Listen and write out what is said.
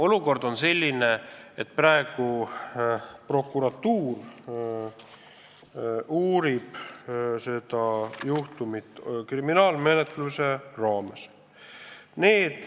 Olukord on selline, et prokuratuur uurib seda juhtumit kriminaalmenetluse raames.